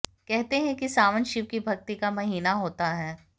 कहते हैं कि सावन शिव की भक्ति का महीना होता है